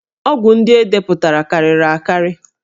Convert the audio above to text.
Ọgwụ ndị e depụtara karịrị akarị